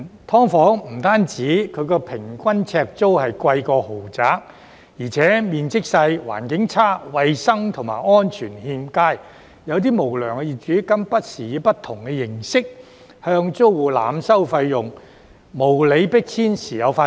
"劏房"不止平均呎租比豪宅貴，而且面積狹小、環境惡劣，衞生及安全欠佳，有些無良業主更不時以不同形式向租戶濫收費用，無理迫遷時有發生。